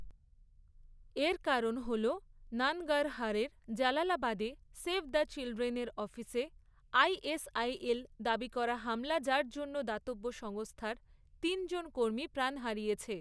এর কারণ হল নানগারহারের জালালাবাদে সেভ দ্য চিলড্রেন এর অফিসে আইএসআইএল দাবী করা হামলা যার জন্য দাতব্য সংস্থার তিনজন কর্মী প্রাণ হারিয়েছে।